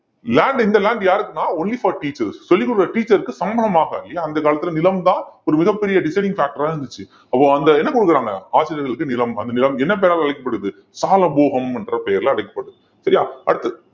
land இந்த land யாருக்குன்னா only for teachers சொல்லிக் கொடுக்கிற teacher க்கு சம்பளமாக இல்லையா அந்தக் காலத்துல நிலம் தான் ஒரு மிகப் பெரிய deciding factor ஆ இருந்துச்சு அப்போ அந்த என்ன கொடுக்குறாங்க ஆசிரியர்களுக்கு நிலம் அந்த நிலம் என்ன பெயரால அழைக்கப்படுது சாலபோகம் என்ற பெயரிலே அழைக்கப்படுது சரியா அடுத்து